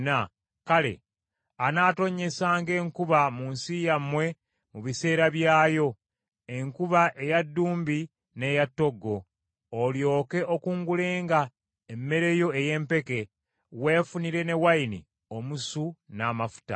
kale, anaatonnyesanga enkuba mu nsi yammwe mu biseera byayo: enkuba eya ddumbi n’eya ttoggo, olyoke okungulenga emmere yo ey’empeke, weefunire ne wayini omusu n’amafuta.